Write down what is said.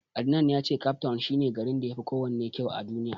Adnan ya ce Cape town shi ne garin da yafi kowanne kysu a Duniya.